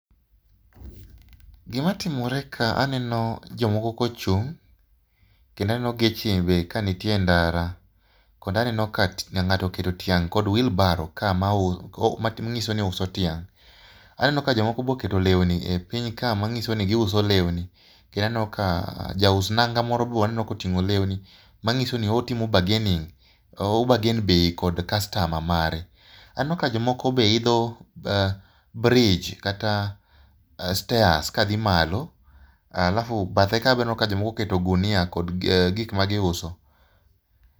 Gima timore kae aneno jomoko ka ochung', kendo aneno ka chieng' be nitie endara koda aneno ka ng'ato oketo tiang' kod wheelbarrow manyiso ni ouso tiang'. Aneno ka jomoko be oketo lewni piny ka manyiso ni giuso lewni. Aneno kaa jaus nanga moro be aneno koting'o lewni manyiso ni otimo bargaining. O bargain bei kod customer mare. Aneno ka jomoko be idho bridge kata stairs kadhi malo alafu bathe kae be aneno ka jomoko oketo ogunia kod gik ma giuso.